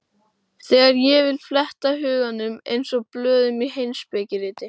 Þegar ég vil fletta huganum eins og blöðum í heimspekiriti.